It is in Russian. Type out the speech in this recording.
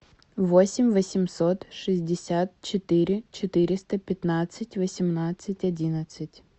восемь восемьсот шестьдесят четыре четыреста пятнадцать восемнадцать одиннадцать